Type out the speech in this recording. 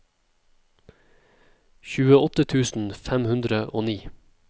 tjueåtte tusen fem hundre og ni